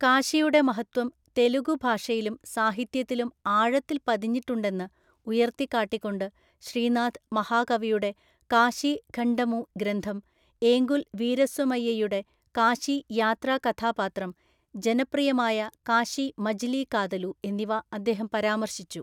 കാശിയുടെ മഹത്വം തെലുഗു ഭാഷയിലും സാഹിത്യത്തിലും ആഴത്തില്‍ പതിഞ്ഞിട്ടുണ്ടെന്ന് ഉയർത്തിക്കാട്ടികൊണ്ട് ശ്രീനാഥ് മഹാകവിയുടെ കാശി ഖണ്ഡമു ഗ്രന്ഥം, ഏങ്കുല്‍ വീരസ്വമയ്യയുടെ കാശി യാത്രാ കഥാപാത്രം, ജനപ്രിയമായ കാശി മജിലി കാതലു എന്നിവ അദ്ദേഹം പരാമർശിച്ചു.